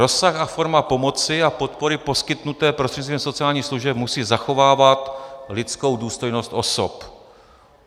Rozsah a forma pomoci a podpory poskytnuté prostřednictvím sociálních služeb musí zachovávat lidskou důstojnost osob.